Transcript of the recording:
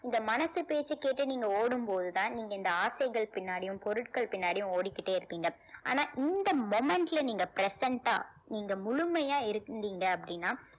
இந்த மனசு பேச்சைக் கேட்டு நீங்க ஓடும் போதுதான் நீங்க இந்த ஆசைகள் பின்னாடியும் பொருட்கள் பின்னாடியும் ஓடிக்கிட்டே இருப்பீங்க ஆனா இந்த moment ல நீங்க present ஆ நீங்க முழுமையா இருந்தீங்க அப்படின்னா